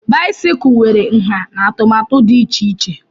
báịsikụ nwere ǹhá na atụmatụ dị iche iche